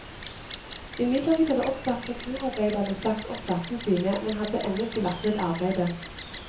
Imidlertid hadde også appreturarbeiderne sagt opp plassene sine, men hadde ennå ikke lagt ned arbeidet.